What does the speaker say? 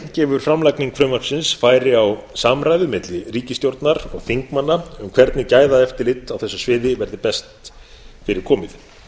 gefur framlagning frumvarpsins færi á samræðu milli ríkisstjórnar og þingmanna um hvernig gæðaeftirlit á þessu sviði verði best fyrir komið